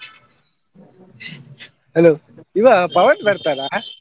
Hello ಇವ ಪವನ್ ಬರ್ತಾನಾ?